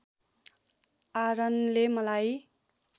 आरनले मलाई